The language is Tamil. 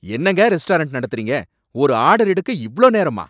என்னங்க ரெஸ்டாரண்ட் நடத்தறீங்க? ஒரு ஆர்டர் எடுக்க இவ்ளோ நேரமா?